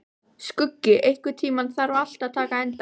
Skuggi, einhvern tímann þarf allt að taka enda.